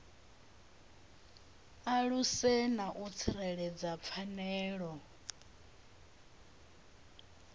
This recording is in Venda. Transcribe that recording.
aluse na u tsireledza pfanelo